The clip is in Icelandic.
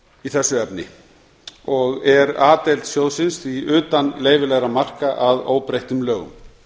í þessu efni og er a deild sjóðsins því utan leyfilegra marka að óbreyttum lögum